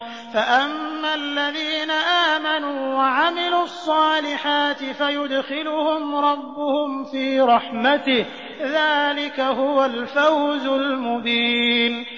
فَأَمَّا الَّذِينَ آمَنُوا وَعَمِلُوا الصَّالِحَاتِ فَيُدْخِلُهُمْ رَبُّهُمْ فِي رَحْمَتِهِ ۚ ذَٰلِكَ هُوَ الْفَوْزُ الْمُبِينُ